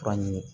Fura ɲini